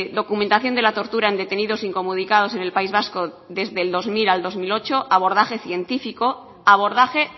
documentación de la tortura en detenidos incomunicados en el país vasco desde el dos mil al dos mil ocho abordaje científico abordaje